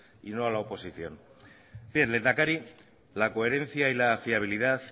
y no a la oposición bien lehendakari la coherencia y la fiabilidad